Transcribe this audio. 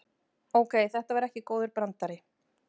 Ókei, þetta var ekki góður brandari.